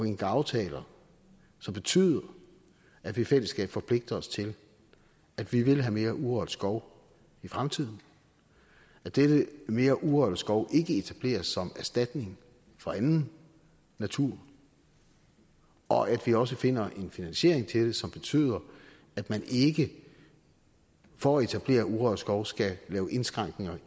indgå aftaler som betyder at vi i fællesskab forpligter os til at vi vil have mere urørt skov i fremtiden at dette mere urørt skov ikke etableres som erstatning for anden natur og at vi også finder en finansiering til det som betyder at man ikke for at etablere urørt skov skal lave indskrænkninger